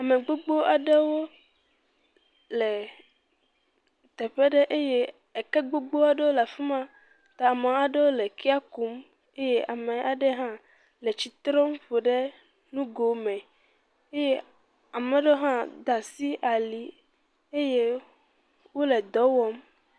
Ame gbogbo aɖewo le teƒe ɖe eye eke gbogbo aɖewo le fi ma ta ame aɖewo le ekee kum eye ame aɖe hã le tsi trɔm ƒo ɖe nugo me eye ame aɖe hã da asi ali eye wole dɔ wɔm.